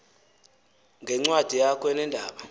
ngencwadi yakho eneendaba